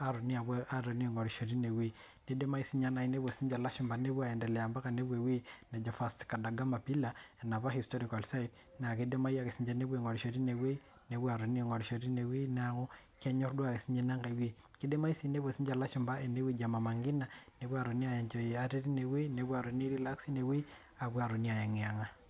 atonii aing'orisho teinewei neidimai nayii nepuo sinche ilashumpa nepuo ai endelea nepuo ewei neji Vasco Dagama Pillar enapa historikal site naa keidimayu ake sinche nenepuo aing'orisho teine wei nepuo aatoni ang'orisho teine wei neeku kenyorr duo ake sinye ina nkae weii keidimayu sii nepuo sinche ilashumpa ene weji ee Mama Ngina nepuo aatoni ai enjoy atee teine wei nepuo aatoni ai relax teine wei apuoo aatoni ayeng'iyang'a.